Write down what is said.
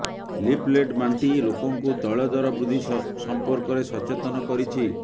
leaflet ବାଣ୍ଟି ଲୋକଙ୍କୁ ତୈଳ ଦର ବୃଦ୍ଧି ସମ୍ପର୍କରେ ସଚେତନ କରିଛି